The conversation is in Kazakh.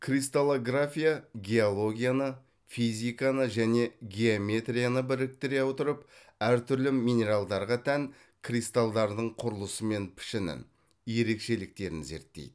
кристаллография геологияны физиканы және геометрияны біріктіре отырып әр түрлі минералдарға тән кристалдардың құрылысы мен пішінін ерекшеліктерін зерттейді